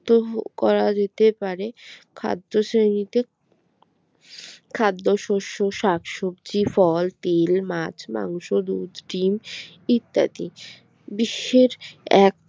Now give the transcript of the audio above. ত করা যেতে পারে খাদ্য শ্রেণীতে খাদ্যশস্য শাকসবজি ফল তেল মাছ মাংস দুধ ডিম ইত্যাদি বিশ্বের এক